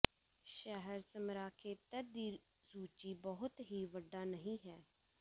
ਸ਼ਹਿਰ ਸਮਰਾ ਖੇਤਰ ਦੀ ਸੂਚੀ ਬਹੁਤ ਹੀ ਵੱਡਾ ਨਹੀ ਹੈ